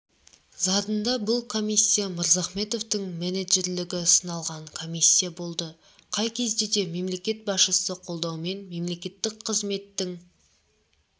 задында бұл комиссия мырзахметовтың менеджерлігі сыналған комиссия болды қай кезде де мемлекет басшысы қолдауымен мемлекеттік қызметтің